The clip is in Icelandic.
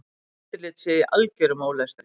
Eftirlit sé í algerum ólestri.